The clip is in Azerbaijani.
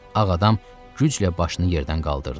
Ağ adam güclə başını yerdən qaldırdı.